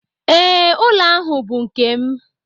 Ee, ụlọ ahu bụ nke m.